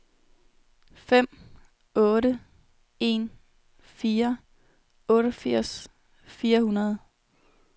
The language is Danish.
fem otte en fire otteogfirs fire hundrede